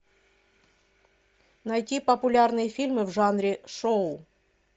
найти популярные фильмы в жанре шоу